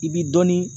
I bi dɔnni